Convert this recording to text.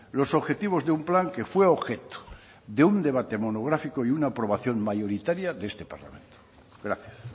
los objetivos de un plan que fue objeto de un debate monográfico y una aprobación mayoritaria de este parlamento gracias